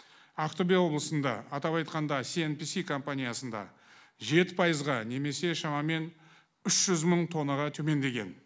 ақтөбе облысында атап айтқанда сиэнписи компаниясында жеті пайызға немесе шамамен үш жүз мың тоннаға төмендеген